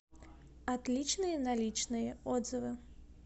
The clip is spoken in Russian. отличные наличные отзывы